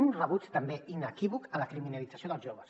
un rebuig també inequívoc a la criminalització dels joves